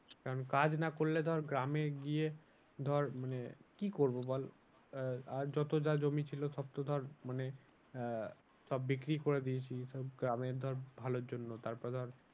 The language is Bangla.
কারণ কাজ না করলে ধর গ্রামে গিয়ে ধর মানে কি করবো বল আহ যত যা জমি ছিল সব তো ধর মানে আহ সব বিক্রি করে দিয়েছি। তো গ্রামের ধর ভালোর জন্য তারপরে ধর।